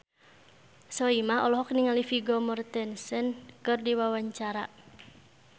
Soimah olohok ningali Vigo Mortensen keur diwawancara